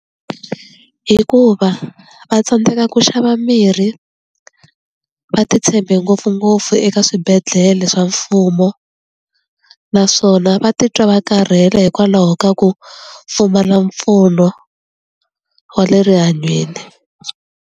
Hikuva va tsandzeka ku xava mirhi va ti tshembe ngopfungopfu eka swibedhlele swa mfumo naswona va titwa va karhele hikwalaho ka ku pfumala mpfuno wa le rihanyweni.